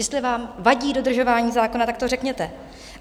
Jestli vám vadí dodržování zákona, tak to řekněte.